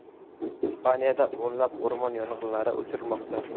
Ispaniyada o‘nlab o‘rmon yong‘inlari o‘chirilmoqda.